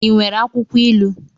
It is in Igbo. I nwere akwụkwọ ilu?